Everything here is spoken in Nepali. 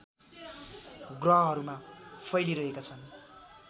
ग्रहहरूमा फैलिरहेका छन्